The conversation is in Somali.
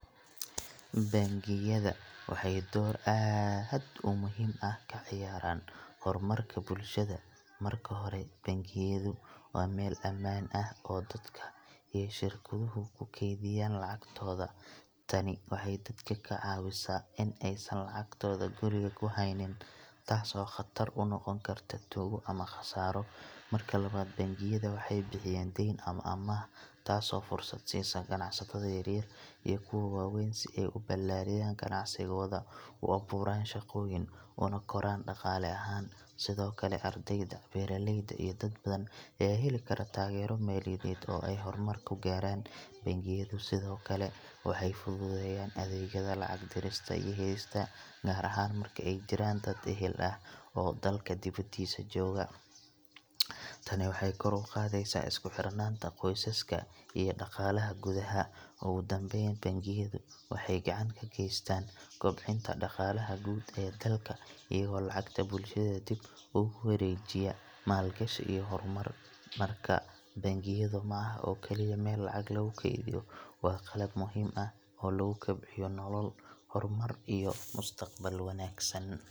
Bangiyada waxay door aad u muhiim ah ka ciyaaraan horumarka bulshada. Marka hore, bangiyadu waa meel ammaan ah oo dadka iyo shirkaduhu ku kaydiyaan lacagtooda. Tani waxay dadka ka caawisaa in aysan lacagtooda guriga ku haynin, taas oo khatar u noqon karta tuugo ama khasaaro. Marka labaad, bangiyada waxay bixiyaan deyn ama amaah taasoo fursad siisa ganacsatada yaryar iyo kuwa waaweyn si ay u ballaariyaan ganacsigooda, u abuuraan shaqooyin, una koraan dhaqaale ahaan. Sidoo kale, ardayda, beeraleyda, iyo dad badan ayaa heli kara taageero maaliyadeed oo ay horumar ku gaaraan. Bangiyadu sidoo kale waxay fududeeyaan adeegyada lacag dirista iyo helista, gaar ahaan marka ay jiraan dad ehel ah oo dalka dibaddiisa jooga. Tani waxay kor u qaadaysaa isku xirnaanta qoysaska iyo dhaqaalaha gudaha. Ugu dambeyn, bangiyadu waxay gacan ka geystaan kobcinta dhaqaalaha guud ee dalka iyagoo lacagta bulshada dib ugu wareejiya maalgashi iyo horumar. Markaa, bangigu ma aha oo kaliya meel lacag lagu kaydiyo, waa qalab muhiim ah oo lagu kobciyo nolol, horumar, iyo mustaqbal wanaagsan.